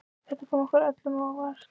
Þetta kom okkur öllum á óvart